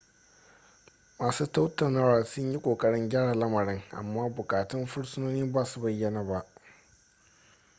masu tattaunawar sun yi kokarin gyara lamarin amma bukatun fursunonin ba su bayyana ba